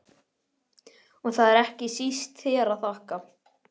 Og það er ekki síst þér að þakka